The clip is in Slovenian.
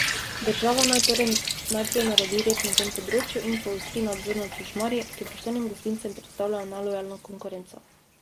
Država naj torej najprej naredi red na tem področju in poostri nadzor nad šušmarji, ki poštenim gostincem predstavljajo nelojalno konkurenco.